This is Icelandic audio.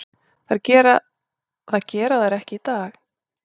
Það gera þær ekki í dag.